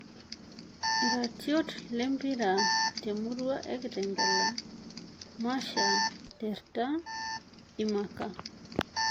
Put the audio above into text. Iratiot le mpira temurua e Kitengela; Masha, Terta, Imaka.